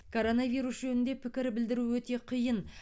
коронавирус жөнінде пікір білдіру өте қиын